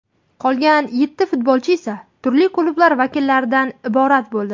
Qolgan yetti futbolchi esa turli klublar vakillaridan iborat bo‘ldi.